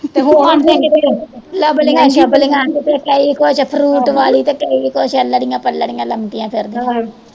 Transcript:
ਲਵਲੀਆ ਸ਼ਵਲੀਆ ਕਿਤੇ ਕਈ ਕੁਝ ਫਰੂਟ ਵਾਲੀ ਤੇ ਕਈ ਕੁਝ ਅੱਲੜੀਆ ਪਲੜੀਆ ਲਾਉਂਦੀਆਂ ਫਿਰਦੀਆ